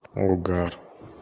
угар